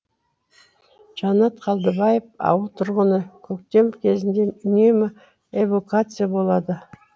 жанат қалдыбаев ауыл тұрғыны көктем кезінде үнемі эвакуация болады